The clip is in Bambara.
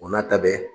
O n'a ta bɛɛ